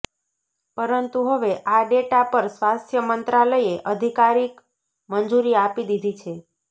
પરંતુ હવે આ ડેટા પર સ્વાસ્થ્ય મંત્રાલયે અધિકારિક મંજૂરી આપી દીધી છે